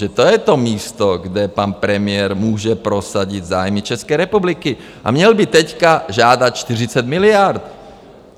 Že to je to místo, kde pan premiér může prosadit zájmy České republiky, a měl by teď žádat 40 miliard.